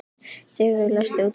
Sigurdríf, læstu útidyrunum.